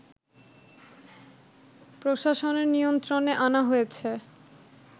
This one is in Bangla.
প্রশাসনের নিয়ন্ত্রণে আনা হয়েছে